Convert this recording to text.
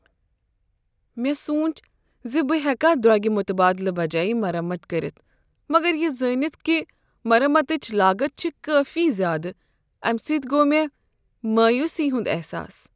مےٚ سونچ ز بہٕ ہیکا درۄگہ متبادلہ بجایہ مرمت کٔرتھ، مگر یہ زٲنتھ کہ مرمتٕچ لاگت چھےٚ کٲفی زیادٕ، امہ سۭتۍ گوٚو مےٚ مایوسی ہنٛد احساس۔